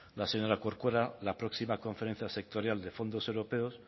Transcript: la señora corcuera la próxima conferencia sectorial de fondos europeos